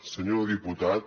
senyor diputat